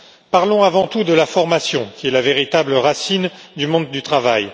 Parlons avant tout de la formation, qui est la véritable racine du monde du travail.